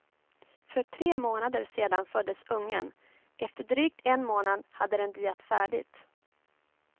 För tre månader sedan föddes ungen, efter drygt en månad hade den diat färdigt.